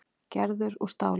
Gerður úr stáli.